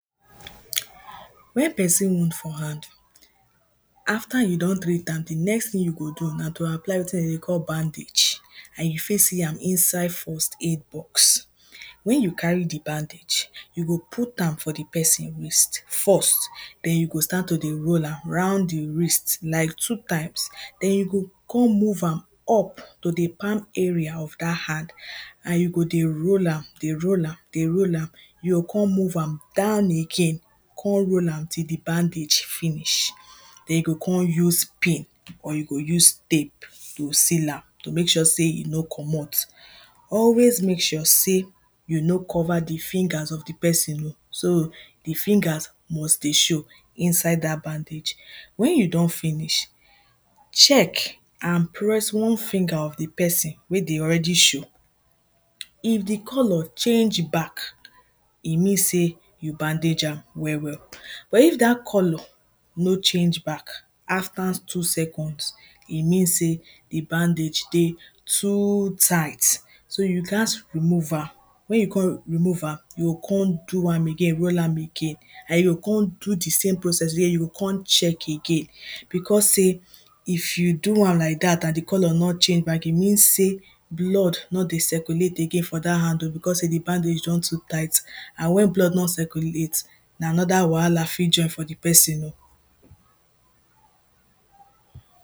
when person wound for hand after you don treat am, the next thing you go do na to apply wetin dem dey call bandage an you fit see am inside first aid box when you carry the bandage you go put am for the person wrist first then you go start to roll am round the fish like two times then you go come move am up to the palm area of that hand an you go dey roll am dey roll am dey roll am you go come move am down again come roll am till the bandage finish then you go come use pin or you go come use tape to seal am to make sure sey e no comot always make sure sey you no cover the fingers of the person oh so the fingers must dey show inside that bandage when you don finsih check an press one finger of the person wey dey already show if the colour chjange back e mean sey you bandage am well well but if that colour no change back after two seconds e mean sey dey bandage dey too tight so you ghas remove am when you come remove am, you go come do am, roll am again you go come do the same process again, you go come check again because sey if you do am like that an the colour no change, e mean sey blood no dey circulate for that hand because dey bandage don too tight an when bllod no circulate na another wahala fit join for the person o